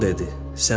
Al dedi.